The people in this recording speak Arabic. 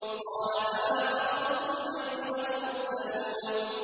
قَالَ فَمَا خَطْبُكُمْ أَيُّهَا الْمُرْسَلُونَ